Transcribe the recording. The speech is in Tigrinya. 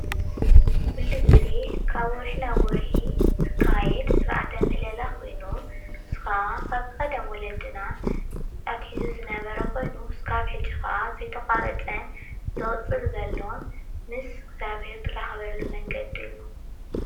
ኩሉ ግዜ ካብ ወርሒ ናብ ወርሒ ዝካየድ ስርዓተ ምህለላ ኮይኑ ንሱ ከዓ ካብ ቀደም ወለድና ኣትሒዙ ዝነበረ ኮይኑ እስካብ ሕዚ ከዓ ዘይተቋረፀን ዝቅፅልን ዘሎን ምስ እግዚኣብሄር እትራከበሉ መንገዲ እዩ፡፡